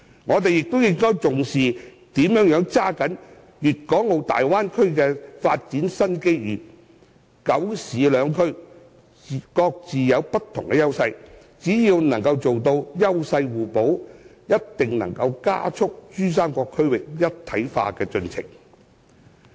我們亦應重視如何抓緊粵港澳大灣區的發展新機遇，"九市兩區"各有不同優勢，只要做到優勢互補，定能加快珠三角區域一體化的進程。